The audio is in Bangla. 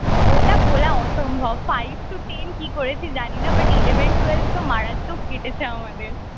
ওটা ভোলা অসম্ভব five to ten কি করেছি জানি না but eleven twelve তো মারাত্মক কেটেছে আমাদের